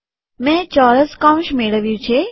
મેં ચોરસ કૌંસ મેળવ્યું છે